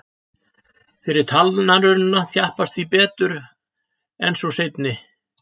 Fyrri talnarunan þjappast því betur en sú seinni.